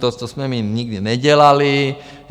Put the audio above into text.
To jsme my nikdy nedělali.